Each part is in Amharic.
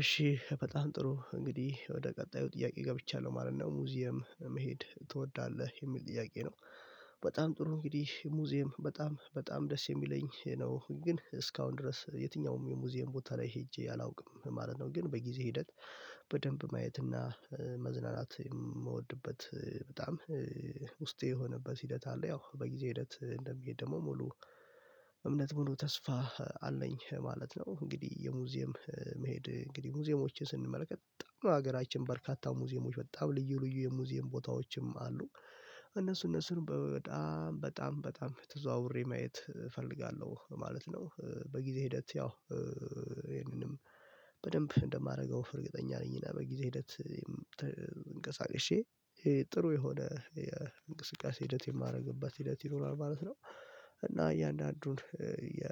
እሺ በጣም ጥሩ እንግዲህ ወደ ቀጣዩ ጥያቄ ገብቻለሁ ማለት ነው ሙዚየም መሄድ ትወዳለህ የሚል ጥያቄ ነው። በጣም ጥሩ እንግዲህ ሙዚየም በጣም በጣም ደስ የሚለኝ ነው ግን እስካሁን ድረስ የትኛውም የሙዚየም ቦታ ላይ ሄጄ አላውቅም ማለት ነው። ግን በጊዜ ሂደት በደንብ ማየት እና መዝናናት የምወድበት በጣም ውስጤ የሆነበት ሂደት አለ ያው በጊዜ ሂደት እንደሚሄድ ደግሞ ሙሉ እምነት ሙሉ ተስፋ አለኝ ማለት ነው። እንግዲህ የሙዚየም መሄድ እንግዲህ ሙዚየሞችን ስንመለከት በጣም ነው ሀገራችን በርካታ ሙዚየሞች በጣም ልዩ ልዩ የሙዚየም ቦታዎችም አሉ። እነሱ እነሱን በጣም በጣም በጣም ተዘዋውሬ ማየት እፈልጋለሁ ማለት ነው። በጊዜ ሂደት ያው ይሄንንም በደንብ እንደማደርገው እርግጠኛ ነኝ እና በጊዜ ሂደት ተንቀሳቅሽ ጥሩ የሆነ እንቅስቃሴ ሂደት የማደርግባት ሂደት ይኖራል ማለት ነው። እና እያንዳንዱን የ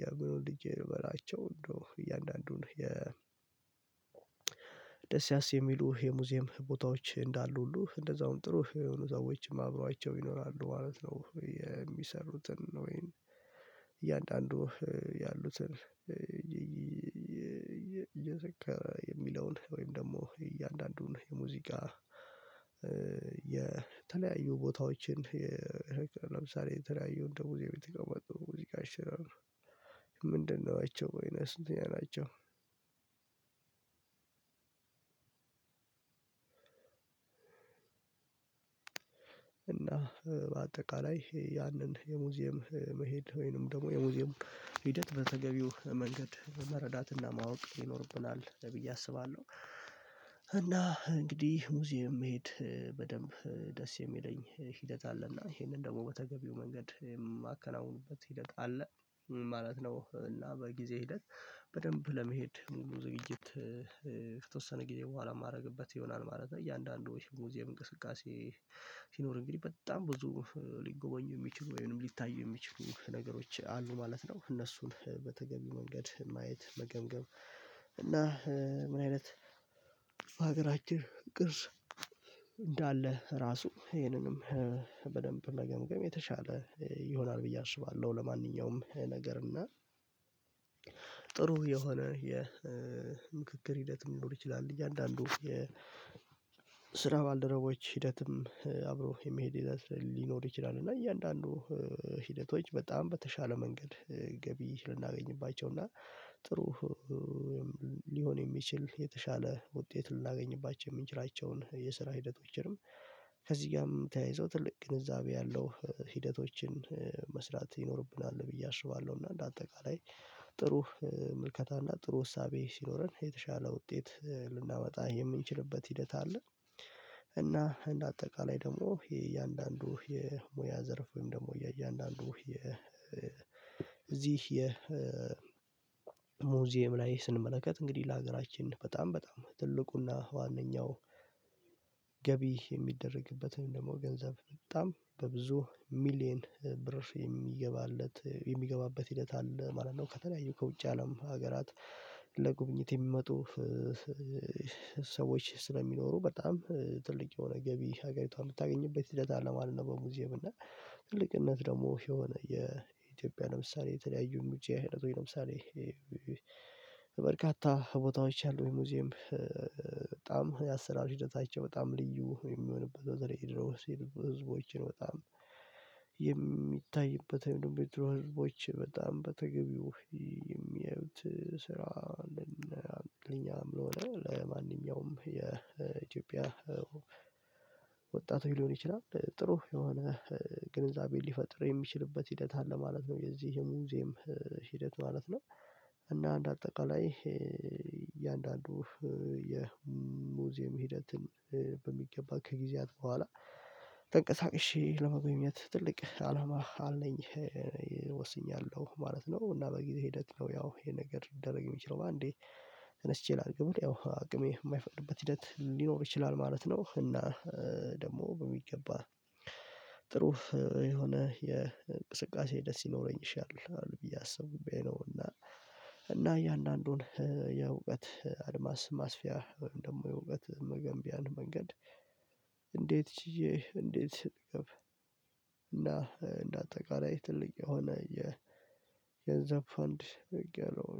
የግል ወልጄ በላቸው እንደው እያንዳንዱን የደስ ያስ የሚሉ የሙዚየም ቦታዎች እንዳሉ ሁሉ እንደዛውም ጥሩ የሆኑ ሰዎችም አብሯቸው ይኖራሉ ማለት ነው። የሚሰሩትን ነው ወይንም እያንዳንዱ ያሉ ስር የሚለውን ወይም ደግሞ እያንዳንዱን የሙዚቃ የተለያዩ ቦታዎችን ለምሳሌ የተለያዩ እንደው የቤት የቆመጡ ሙዚቃ ሽረር ምንድነው? አይቼው ወይንስ እኛ ናቸው አላቸው። እና በአጠቃላይ ያንን የሙዚየም መሄድ ወይንም ደግሞ የሙዚየሙ ሂደት በተገቢው መንገድ በመረዳትና ማወቅ ይኖርብናል ብዬ አስባለሁ። እና እንግዲህ ሙዚየም መሄድ በደንብ ደስ የሚለኝ ሂደት አለና ይሄንን ደግሞ በተገቢው መንገድ የማከናውኑበት ሂደት አለ ማለት ነው። እና በጊዜ ሂደት በደንብ ለመህድ ሙሉ ዝግጅት ከተወሰነ ጊዜ በኋላ የማደርግበት ይሆናል ማለት ነው። እያንዳንዱ ይሄ ሙዚየም እንቅስቃሴ ሲኖር እንግዲህ በጣም ብዙ ሊጎበኙ የሚችሉ ወይም ሊታይ የሚችሉ ነገሮች አሉ ማለት ነው። እነሱን በተገቢ መንገድ ማየት መገምገም እና ምን አይነት በሀገራችን ቅርስ እንዳለ ራሱ ይህንንም በደንብ መገምገም የተሻለ ይሆናል ብዬ አስባለሁ። ለማንኛውም ነገር እና ጥሩ የሆነ የ የምክክር ሂደትም ሊሆን ይችላል። እያንዳንዱ የስራ ባልደረቦች ሂደትም አብሮ የመሄድ ይዘት ሊኖር ይችላል። እና እያንዳንዱ ሂደቶች በጣም በተሻለ መንገድ ገቢ ልናገኝባቸው እና ጥሩ ሊሆን የሚችል የተሻለ ውጤት ላገኝባቸው የምንችላቸውን የስራ ሂደቶችንም ከዚህ ጋር የምታይዘው ትልቅ ግንዛቤ ያለው ሂደቶችን መስራት ይኖርብናል ብዬ አሽባለሁ። እና እንደ አጠቃላይ ጥሩ ምልከታ እና ጥሩ ወሳቤ ሲኖረን የተሻለ ውጤት ልናመጣ የምንችልበት ሂደት አለ። እና እንደ አጠቃላይ ደግሞ የእያንዳንዱ የሙያ ዘርፍ ወይም ደግሞ እያንዳንዱ የ እዚህ የ ሙዚየም ላይ ስንመለከት እንግዲህ ለሀገራችን በጣም በጣም ትልቁና ዋነኛው ገቢ የሚደረግበትን ደግሞ ገንዘብ በጣም በብዙ ሚሊየን ብር የሚገባለት የሚገባበት ሂደት አለ ማለት ነው። ከተለያዩ ከውጭ አለም ሀገራት ለጉብኝት የሚመጡ ሰዎች ስለሚኖሩ በጣም ትልቅ የሆነ ገቢ ሀገሪቷን የምታገኝበት ሂደት አለ ማለት ነው። በሙዚየም እና ትልቅነት ደግሞ የሆነ የኢትዮጵያ ለምሳሌ የተለያዩን ሙጫ አይነት ለምሳሌ በርካታ ቦታዎች ያሉኝ ሙዚየም በጣም የአሰራር ሂደታቸው በጣም ልዩ የሚሆንበት በዛ ላይ የሚደረጉ ህዝቦችን በጣም የሚታይበት ወይም የድሮ ህዝቦች በጣም በተገቢው የሚያዩት ስራ ለኛም ለሆነ ለማንኛውም የኢትዮጵያ ወጣት ሊሆን ይችላል ጥሩ የሆነ ግንዛቤን ሊፈጥር የሚችልበት ሂደት አለ ማለት ነው። የዚህ ሙዚየም ሂደት ማለት ነው። እና አንደ አጠቃላይ እያንዳንዱ የሙዚየም ሂደትን በሚገባ ከጊዜያት በኋላ ጠንቀሳቅሼ ለመጎየኝነት ትልቅ አላማ አለኝ ወስኛለሁ ማለት ነው። እና በጊዜ ሂደት ነው ያው ይሄ ነገር ሊደረግ የሚችለው በአንዴ ተነስቼ ላድርግ ብለህ ያው አቅሜ የማይፈቅድበት ሂደት ሊኖር ይችላል ማለት ነው። እና ደግሞ በሚገባ ጥሩ የሆነ የእንቅስቃሴ ደስ ሊኖረኝ ይችላል ብዬ አስቡኝ አስቡብኝ ነው። እና እና እያንዳንዱን የእውቀት አድማስ ማስፊያ ወይም ደግሞ የእውቀት መገንቢያን መንገድ እንዴት ችዬ እንዴት ልገብ? እና እንደ አጠቃላይ ትልቅ የሆነ የገንዘብ ፈንድ አርጊያለው።